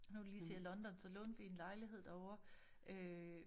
Nu du lige siger London så lånte vi en lejlighed derovre øh